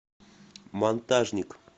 монтажник